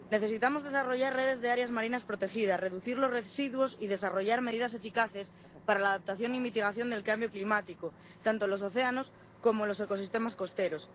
Necesitamos desarrollar redes de áreas marinas protegidas, reducir los residuos y desarrollar medidas eficaces para la adaptación y mitigación del cambio climático, tanto en los océanos como en los ecosistemas costeros.